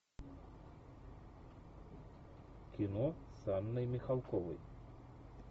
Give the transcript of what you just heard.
кино с анной михалковой